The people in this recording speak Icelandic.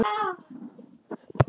Nú þarftu ekkert að óttast.